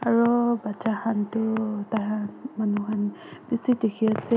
aroo bacha khan toh taikan manu khan bishi diki asae.